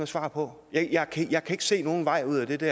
svar på jeg kan ikke se nogen vej ud af det